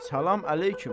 Salam əleyküm.